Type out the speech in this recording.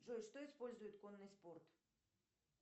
джой что использует конный спорт